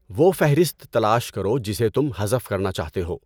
وہ فہرست تلاش کرو جسے تم حذف کرنا چاہتے ہو